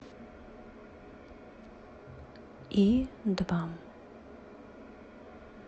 и два